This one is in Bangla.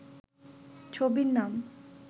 ছবির নাম